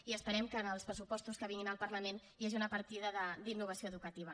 i esperem que en els pressupostos que vinguin al parlament hi hagi una partida d’innovació educativa